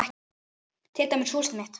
Til dæmis húsið mitt.